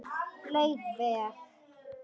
Leið vel.